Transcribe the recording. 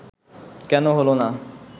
কেন হলো না